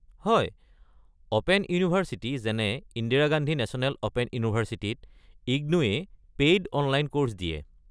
হয়, open university যেনে Indira Gandhi national open ইউনিভাৰ্ছিটিত, ইগনো-এ পেইড অনলাইন কৰ্ছ দিয়ে।